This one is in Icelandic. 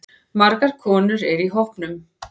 Margar konur eru í hópnum.